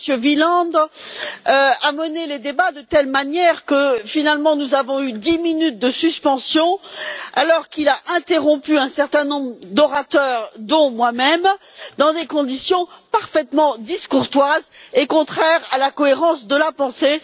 Wieland, a mené les débats de telle manière que, finalement, nous avons eu dix minutes de suspension, alors qu'il a interrompu un certain nombre d'orateurs, dont moi même, dans des conditions parfaitement discourtoises et contraires à la cohérence de la pensée.